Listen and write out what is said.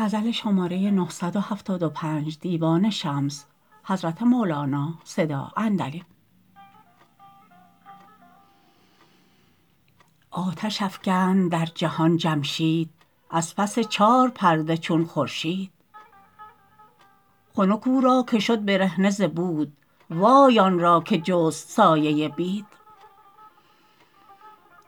آتش افکند در جهان جمشید از پس چار پرده چون خورشید خنک او را که شد برهنه ز بود وای آن را که جست سایه بید